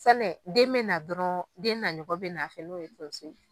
Fɛnɛ den bɛ na dɔrɔn, den naɲɔgɔn bɛ n'a fɛ, n'o ye tonso ye.